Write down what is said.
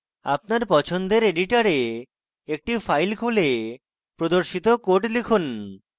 আপনার পছন্দের editor একটি file খুলে প্রদর্শিত code লিখুন